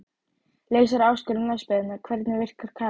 Leysir áskorun landsbyggðarinnar Hvernig virkar Kara?